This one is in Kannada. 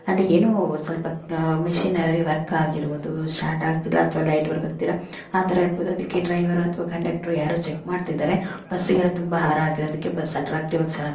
ಅದ್ ಏನೋ ಸೊಲ್ಪ ಮಷೀನರಿ ವರ್ಕ್ ಆಗಿರುವುದು ಸ್ಟಾರ್ಟ್ ಆಗತಿಲ್ಲ ಅಥವಾ ಲೈಟ್ ವರ್ಕ್ ಆಗತಿಲ್ಲ ಆತರ ಇರ್ಬಹುದು ಅದಿಕ್ಕೆ ಡ್ರೈವರ್ ಅಥವಾ ಕಂಡಕ್ಟರ್ ಯಾರೋ ಚೆಕ್ಮಾಡ್ತಿದಾರೆ ಬುಸ್ಸಿಗೆಲ್ಲ ತುಂಬಾ ಹಾರಾ ಹಾಕಿರೋದಕ್ಕೆ ಬಸ್ ಅಟ್ರಾಕ್ಟಿವ್ ಆಗಿ ಚೆನ್ನಾಗ್ ಕಕಾಂತಿದೆ.